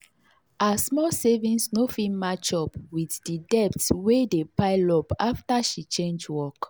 her small savings no fit match up with the debt wey dey pile up after she change work.